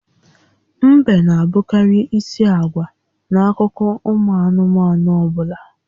Ḿbè n'abụkarị ísì àgwà n'akụkọ ụmụ anụmanụ ọbụla